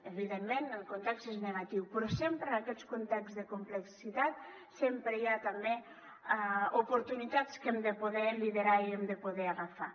evidentment el context és negatiu però en aquests contexts de complexitat sempre hi ha també oportunitats que hem de poder liderar i hem de poder agafar